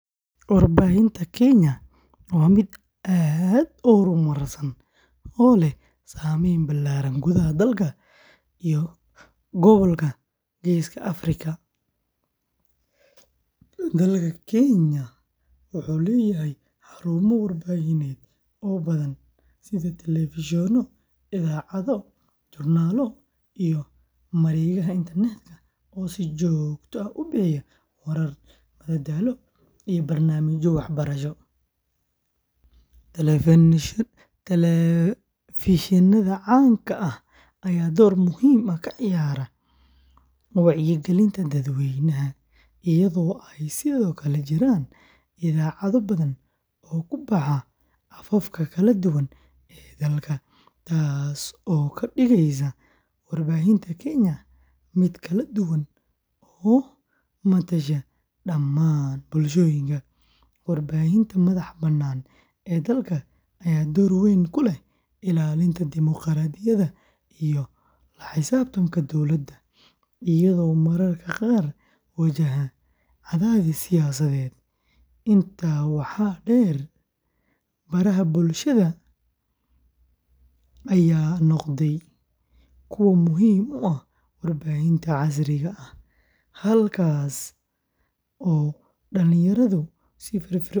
Warbaahinta Kenya waa mid aad u horumarsan oo leh saameyn ballaaran gudaha dalka iyo gobolka Geeska Afrika. Dalka Kenya wuxuu leeyahay xarumo warbaahineed oo badan sida telefishinno, idaacado, joornaallo, iyo mareegaha internetka oo si joogto ah u bixiya warar, madadaalo, iyo barnaamijyo waxbarasho. Telefishinnada caanka ah ayaa door muhiim ah ka ciyaara wacyigelinta dadweynaha, iyadoo ay sidoo kale jiraan idaacado badan oo ku baxa afafka kala duwan ee dalka, taas oo ka dhigaysa warbaahinta Kenya mid kala duwan oo matasha dhammaan bulshooyinka. Warbaahinta madax-bannaan ee dalka ayaa door weyn ku leh ilaalinta dimuqraadiyadda iyo la xisaabtanka dowladda, iyadoo mararka qaar wajahda cadaadis siyaasadeed. Intaa waxaa dheer, baraha bulshada ayaa noqday kuwo muhiim u ah warbaahinta casriga ah, halkaas oo dhalinyaradu si firfircoon.